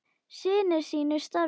Sinnir sínu starfi.